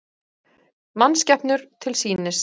Mannskepnur til sýnis